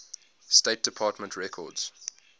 state department records